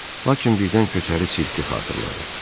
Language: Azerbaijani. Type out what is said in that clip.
Lakin birdən köçəri sirki xatırladı.